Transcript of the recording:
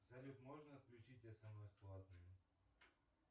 салют можно отключить смс платные